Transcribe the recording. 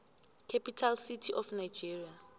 capital city of nigeria